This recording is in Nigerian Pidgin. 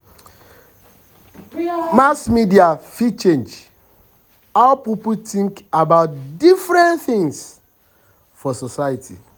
mass media um fit um change how people think about different things things for society.